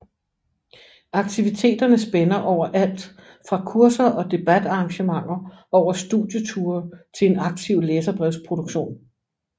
Aktiviteterne spænder over alt fra kurser og debatarrangementer over studieture til en aktiv læserbrevsproduktion